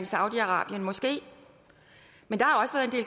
saudi arabien måske men der